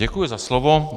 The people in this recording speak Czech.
Děkuji za slovo.